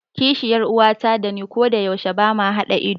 Kishiyar uwata dani kodayaushe bama haɗa ido.